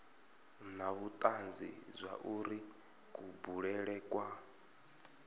na vhutanzi zwauri kubulele kwa